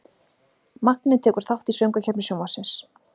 Magni tekur þátt í Söngvakeppni Sjónvarpsins